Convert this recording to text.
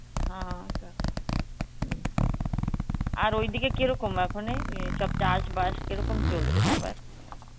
হ্যাঁ আর ওই দিকে কেরকম এখন এ সব চাস বাস কেরকম চলছে সবায়ের